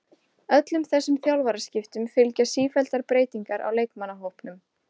Öllum þessum þjálfaraskiptum fylgja sífelldar breytingar á leikmannahópnum.